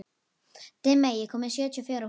Dimmey, ég kom með sjötíu og fjórar húfur!